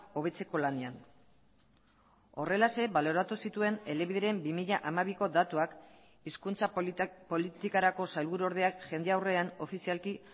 hobetzeko lanean horrelaxe baloratu zituen elebideren bi mila hamabiko datuak hizkuntza politikarako sailburuordeak jende aurrean ofizialki